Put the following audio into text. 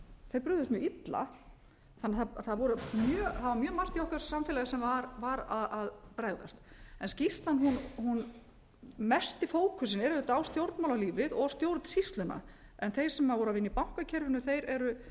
þeir brugðust mjög illa þannig að það var mjög margt í okkar samfélagi sem var að bregðast mesti fókusinn er auðvitað á stjórnmálalífið og stjórnsýsluna en þeir sem voru að vinna í bankakerfinu eru